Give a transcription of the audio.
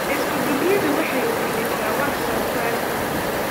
Isku-duubnidu waxay kordhisaa wax soo saarka.